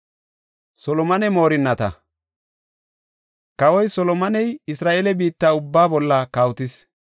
Kawoy Solomoney Isra7eele biitta ubbaa bolla kawotis.